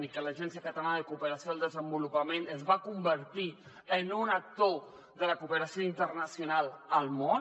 i l’agència catalana de cooperació al desenvolupament es va convertir en un actor de la cooperació internacional al món